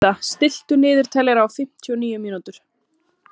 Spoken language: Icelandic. Systa, stilltu niðurteljara á fimmtíu og níu mínútur.